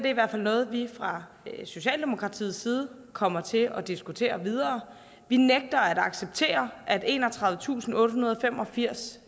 er noget vi fra socialdemokratiets side kommer til at diskutere videre vi nægter at acceptere at enogtredivetusinde og ottehundrede og femogfirs